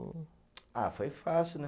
Ah, foi fácil, né?